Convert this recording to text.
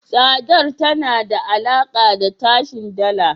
Tsadar tana da alaka da tashin Dala.